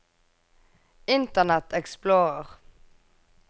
internet explorer